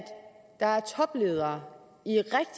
der er topledere